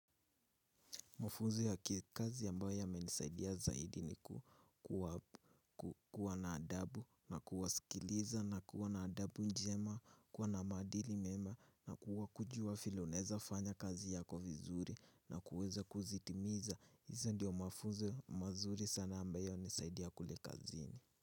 Mafunzo ya kikazi ambayo yamenisaidia zaidi ni ku kuwa na adabu na kuwasikiliza na kuwa na adabu njema, kuwa na maadili mema na kuwa kujua vile unaweza fanya kazi yako vizuri na kuweza kuzitimiza. Hizo ndiyo mafunzo mazuri sana ambayo hunisaidia kule kazini.